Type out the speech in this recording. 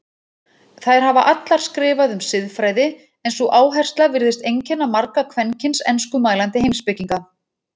Þær hafa allar skrifað um siðfræði en sú áhersla virðist einkenna marga kvenkyns enskumælandi heimspekinga.